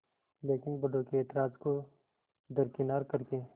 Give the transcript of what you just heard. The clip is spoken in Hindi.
लेकिन बड़ों के ऐतराज़ को दरकिनार कर के